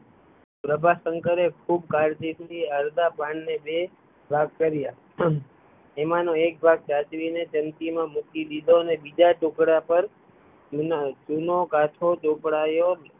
પ્રભાશંકરે ખુબ કાળજી થી અડઘા પાનને બે ભાગ કર્યા, એમાંનો એક ભાગ સાચવી ને ટંકી માં મૂકી દીધો ને બીજા ટુકડા પર ચૂનો કાંઠો ચોપડાયો